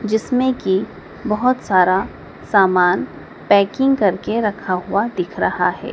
जिसमें की बहोत सारा सामान पैकिंग करके रखा हुआ दिख रहा है।